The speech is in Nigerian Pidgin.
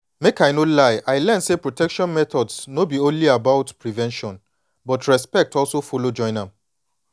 make i no lie i learn say protection methods no be only about prevention but respect also follow join am